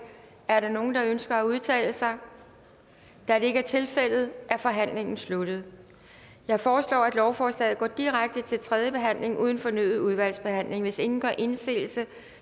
er der nogen der ønsker at udtale sig da det ikke er tilfældet er forhandlingen sluttet jeg foreslår at lovforslaget går direkte til tredje behandling uden fornyet udvalgsbehandling hvis ingen gør indsigelse